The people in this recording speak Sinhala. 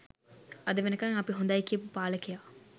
අද වෙනකන් අපි හොඳයි කියපු පාලකයා?